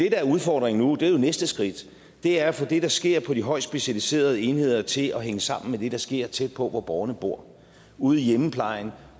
er udfordringen nu er jo næste skridt det er at få det der sker på de højest specialiserede enheder til at hænge sammen med det der sker tæt på hvor borgerne bor ude i hjemmeplejen